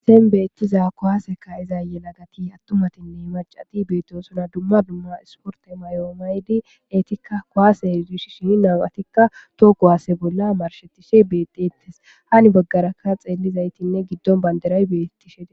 seen beettiza kohaaseka izaye lagati attumatinne macati beetosona dumma dumma isporta mayoomaydi eetikka kowaase heidushishi hi namatikka too kowaase bolla marshetishe bedettes hani baggaraka xeellizaytinne giddon banderay beettishei